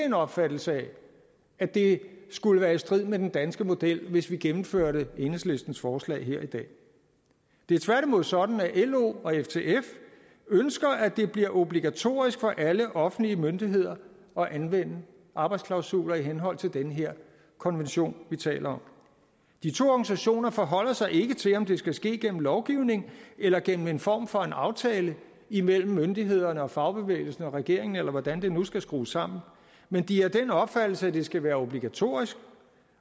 en opfattelse af at det skulle være i strid med den danske model hvis vi gennemførte enhedslistens forslag her i dag det er tværtimod sådan at lo og ftf ønsker at det bliver obligatorisk for alle offentlige myndigheder at anvende arbejdsklausuler i henhold til den her konvention vi taler om de to organisationer forholder sig ikke til om det skal ske gennem lovgivning eller gennem en form for aftale imellem myndighederne fagbevægelsen og regeringen eller hvordan det nu skal skrues sammen men de er af den opfattelse at det skal være obligatorisk